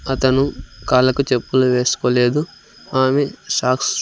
అతను కాళ్లకు చెప్పులు వేసుకోలేదు ఆమె సాక్స్ --